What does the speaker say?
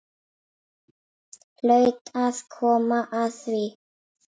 Hlaut að koma að því.